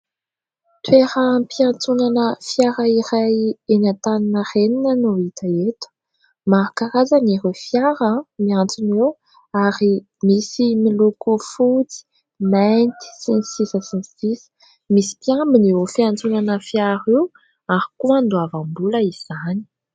Toeram-piantsonana fiara iray eny Antaninarenina no hita eto. Maro karazana ireo fiara miantsona eo ary misy miloko fotsy, mainty sy ny sisa sy ny sisa. Misy mpiambina io fiantsonana fiara io ary koa andoavam-bola izany.